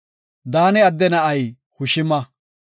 Daane adde na7ay Hushima.